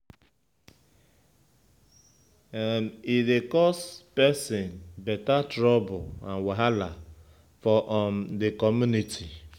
E dey cause pesin beta trouble and wahala for um de community.